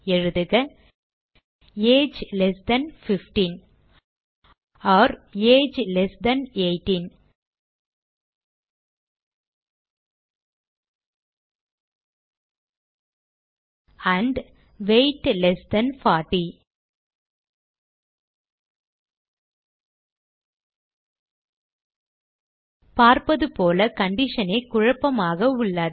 எழுதுக age less than 15 or age less than 18 and weight less than 40 பார்ப்பது போல condition ஏ குழப்பமாக உள்ளது